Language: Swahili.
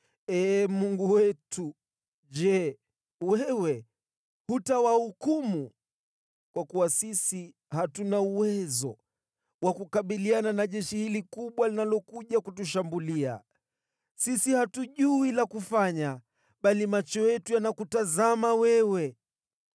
Ee Mungu wetu, je, wewe hutawahukumu? Kwa kuwa sisi hatuna uwezo wa kukabiliana na jeshi hili kubwa linalokuja kutushambulia. Sisi hatujui la kufanya, bali macho yetu yanakutazama wewe.”